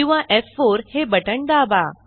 किंवा एफ4 हे बटण दाबा